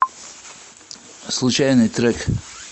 случайный трек